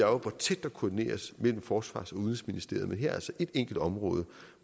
hvor tæt der koordineres mellem forsvars og udenrigsministeriet men her er altså et enkelt område